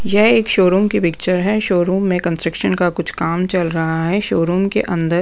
यह एक शोरूम की पिक्चर है शोरूम में कंस्ट्रक्शन का कुछ काम चल रहा है शोरूम के अंदर --